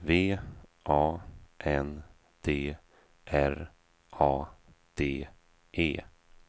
V A N D R A D E